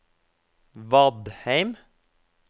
Vadheim